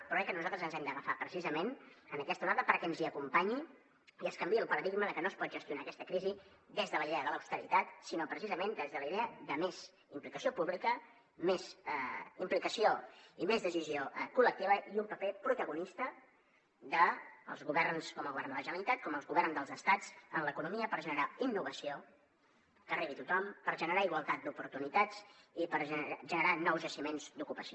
però crec que nosaltres ens hem d’agafar precisament a aquesta onada perquè ens hi acompanyi i es canviï el paradigma de que no es pot gestionar aquesta crisi des de la idea de l’austeritat sinó precisament des de la idea de més implicació pública més implicació i més decisió col·lectiva i un paper protagonista dels governs com el govern de la generalitat com els governs dels estats en l’economia per generar innovació que arribi a tothom per generar igualtat d’oportunitats i per generar nous jaciments d’ocupació